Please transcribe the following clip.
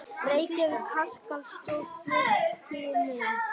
Reykjavík: Háskólafjölritun.